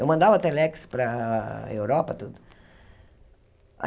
Eu mandava Telex para Europa, tudo.